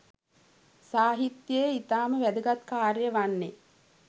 සාහිත්‍යයේ ඉතාම වැදගත් කාර්යය වන්නේ